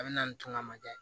A bɛ na nin to a ma dɛ